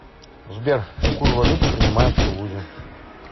сбер какую валюту принимают в тулузе